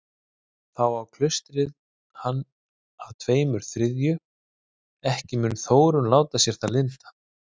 Þá á klaustrið hann að tveimur þriðju, ekki mun Þórunn láta sér það lynda.